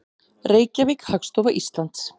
Reykjavík, Hagstofa Íslands.